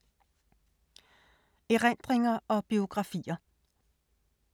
Erindringer og biografier